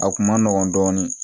A kun ma nɔgɔn dɔɔnin